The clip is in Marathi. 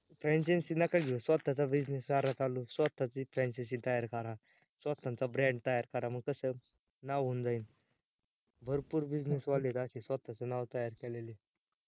franchises नका घेऊ स्वतःचा business करा चालू, स्वतःची च franchisesbrand तयार करा स्वतःचा brand तयार करा, मग कस नाव होऊन जाईन भरपूर business वाढलेला असेल असे स्वतःचे नाव तयार केलेले